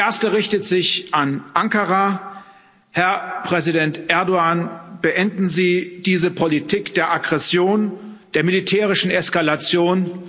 Die erste richtet sich an Ankara Herr Präsident Erdoğan, beenden Sie diese Politik der Aggression, der militärischen Eskalation.